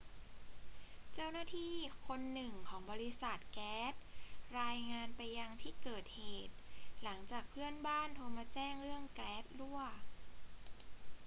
เจ้าหน้าที่คนหนึ่งของบริษัทแก๊สรายงานไปยังที่เกิดเหตุ หลังจากเพื่อนบ้านโทรมาแจ้งเรื่องแก๊สรั่ว